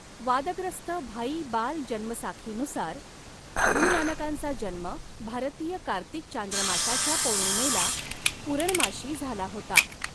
वादग्रस्त भाई बाल जन्मसाखीनुसार, गुरु नानकांचा जन्म भारतीय कार्तिक चांद्रमासाच्या पौर्णिमेला पूरणमाशी झाला होता.